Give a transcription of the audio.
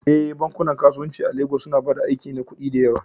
Eh, bankunan kasuwanci a Legas suna ba da aiki na kuɗi da yawa